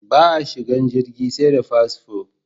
Ba a shigan jirgi sai da fasfo